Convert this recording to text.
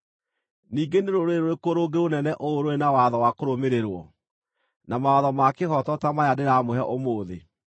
Ningĩ nĩ rũrĩrĩ rũrĩkũ rũngĩ rũnene ũũ rũrĩ na watho wa kũrũmĩrĩrwo, na mawatho ma kĩhooto ta maya ndĩramũhe ũmũthĩ?